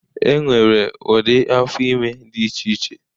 E nwere ụdị afọ ime dị iche iche.